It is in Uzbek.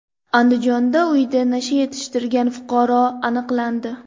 Andijonda uyida nasha yetishtirgan fuqaro aniqlandi.